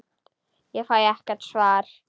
Ég fæ ekkert svar.